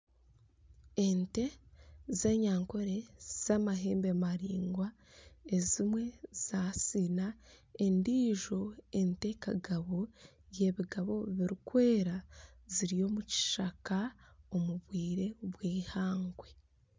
Ente z'enyankole z'amahembe maringwa ezimwe za siina endijo ente kagabo yebigabo birikwera ziri omu kishaka omu bwire bwihangwe.